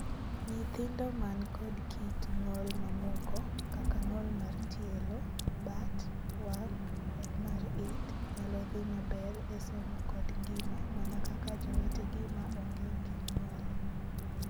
Nyithindo man kod kit ng'ol mamoko, kaka ng'ol mar tielo, bat, wang', kod mar it, nyalo dhii maber e somo kod ngima mana kaka jowetegi ma onge gi ng'ol.